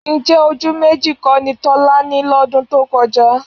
Ǹjẹ́ ojú méjì kọ́ ni Tọ́lá ní lọ́dún tó kọjá?